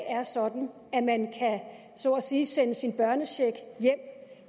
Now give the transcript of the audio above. er sådan at man så at sige kan sende sin børnecheck hjem